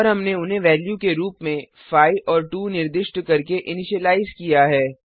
और हमने उन्हें वेल्यू के रूप में 5 और 2 निर्दिष्ट करके इनिशियलाइज किया है